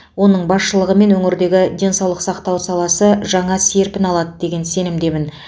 оның басшылығымен өңірдегі денсаулық сақтау саласы жаңа серпін алады деген сенімдемін